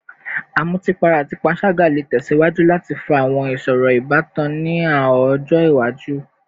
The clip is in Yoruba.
Amutipara ati panṣaga le tẹsiwaju lati fa awọn iṣoro ibatan ni ọjọ iwaju